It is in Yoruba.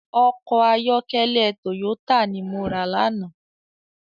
Òkò àyòkèlè tóyótá ni mó rá làná